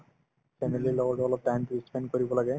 family ৰ লগতো অলপ time তো ই spend কৰিব লাগে